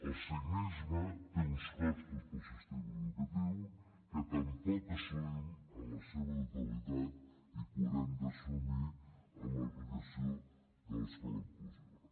el signisme té uns costos per al sistema educatiu que tampoc assumim en la seva totalitat i que haurem d’assumir amb l’aplicació de l’escola inclusiva